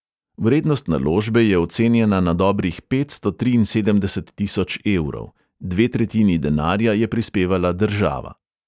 Vrednost naložbe je ocenjena na dobrih petsto triinsedemdeset tisoč evrov, dve tretjini denarja je prispevala država.